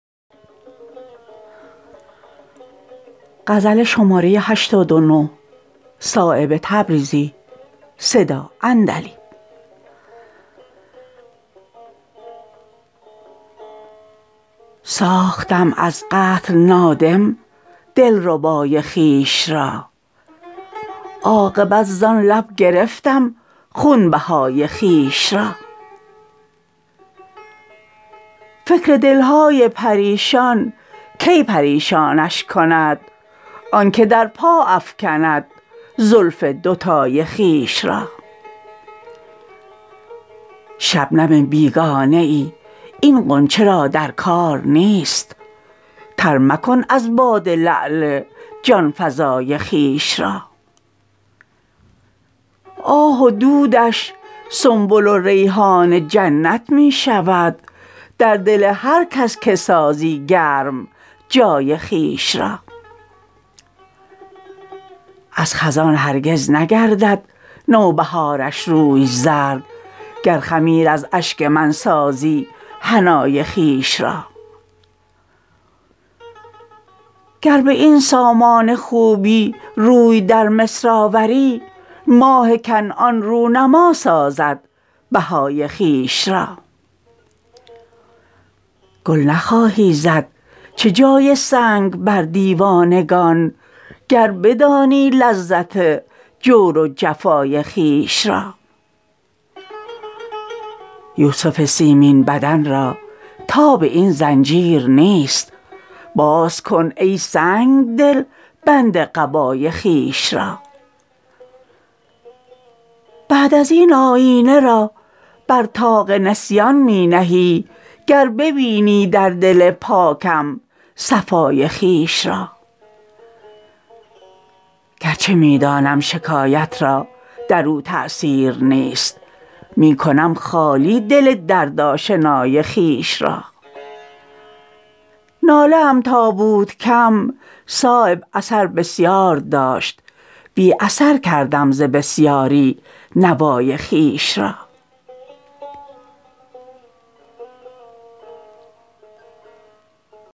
ساختم از قتل نادم دلربای خویش را عاقبت زان لب گرفتم خونبهای خویش را فکر دلهای پریشان کی پریشانش کند آن که در پا افکند زلف دوتای خویش را شبنم بیگانه ای این غنچه را در کار نیست تر مکن از باده لعل جانفزای خویش را آه و دودش سنبل و ریحان جنت می شود در دل هر کس که سازی گرم جای خویش را از خزان هرگز نگردد نوبهارش روی زرد گر خمیر از اشک من سازی حنای خویش را گر به این سامان خوبی روی در مصر آوری ماه کنعان رو نما سازد بهای خویش را گل نخواهی زد چه جای سنگ بر دیوانگان گر بدانی لذت جور و جفای خویش را یوسف سیمین بدن را تاب این زنجیر نیست باز کن ای سنگدل بند قبای خویش را بعد ازین آیینه را بر طاق نسیان می نهی گر ببینی در دل پاکم صفای خویش را گر چه می دانم شکایت را در او تأثیر نیست می کنم خالی دل درد آشنای خویش را ناله ام تا بود کم صایب اثر بسیار داشت بی اثر کردم ز بسیاری نوای خویش را